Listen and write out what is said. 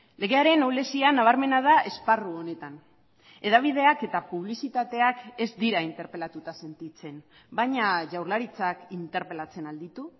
legearen ahulezian nabarmena da esparru honetan hedabideak eta publizitateak ez dira interpelatuta sentitzen baina jaurlaritzak interpelatzen al ditu